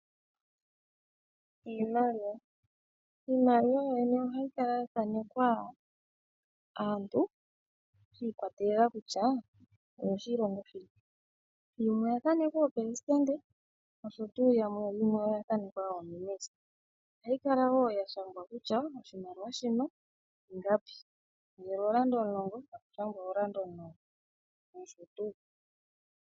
Iimaliwa yoyene ohayi kala ya thanekwa aantu sha ikwatelela kutya oyoshilongo shini. Yimwe oya thanekwa aaleli yoshilongo nosho tuu. Ohayi kala wo ya shangwa kutya oshimaliwa shino ingapi, ngele ooranda omulongo taku shangwa ooranda omulongo nosho tuu.